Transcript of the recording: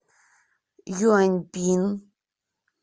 юаньпин